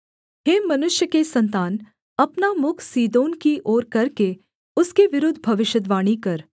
हे मनुष्य के सन्तान अपना मुख सीदोन की ओर करके उसके विरुद्ध भविष्यद्वाणी कर